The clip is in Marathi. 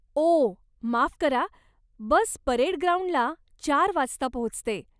ओ, माफ करा, बस परेड ग्राउंडला चार वाजता पोहचते.